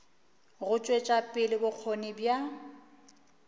go tšwetša pele bokgoni bja